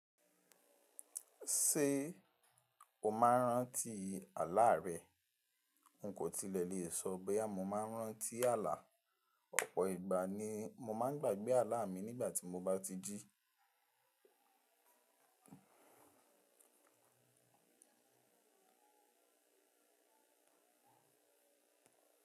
Ṣé o máa ń rántí àláà rẹ? N kò tilẹ̀ lè sọ bóyá mọ́ máa ń rántí àlá. Ọ̀pọ̀ ìgbà ni mo máa ń gbàgbé àlá mi nígbà tí mo bá ti jí.